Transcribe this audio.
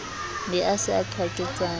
be a se a qwaketsana